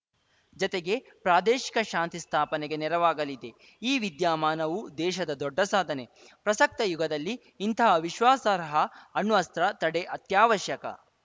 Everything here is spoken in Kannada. ಜತೆಗೆ ಪ್ರಾದೇಶಿಕ ಶಾಂತಿ ಸ್ಥಾಪನೆಗೆ ನೆರವಾಗಲಿದೆ ಈ ವಿದ್ಯಮಾನವು ದೇಶದ ದೊಡ್ಡ ಸಾಧನೆ ಪ್ರಸಕ್ತ ಯುಗದಲ್ಲಿ ಇಂಥಹ ವಿಶ್ವಾಸಾರ್ಹ ಅಣ್ವಸ್ತ್ರ ತಡೆ ಅತ್ಯಾವಶ್ಯಕ